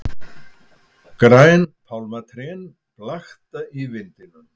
Græn pálmatrén blakta í vindinum.